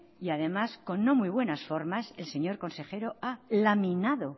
y además con no muy buenas formas es que el señor consejero haya laminado